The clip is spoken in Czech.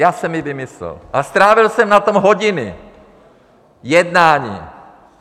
Já jsem ji vymyslel a strávil jsem na tom hodiny jednání.